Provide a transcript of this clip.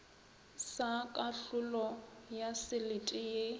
sa kahlolo ya selete ye